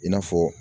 I n'a fɔ